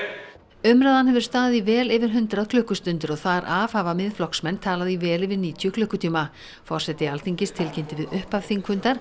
umræðan hefur staðið í vel yfir hundrað klukkustundir og þar af hafa Miðflokksmenn talað í vel yfir níutíu klukkutíma forseti Alþingis tilkynnti við upphaf þingfundar